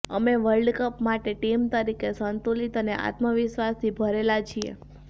અમે વર્લ્ડકપ માટે ટીમ તરીકે સંતુલિત અને આત્મવિશ્વાસથી ભરેલા છીએ